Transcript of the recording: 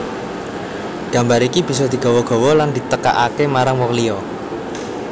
Gambar iki bisa digawa gawa lan ditekakaké marang wong liya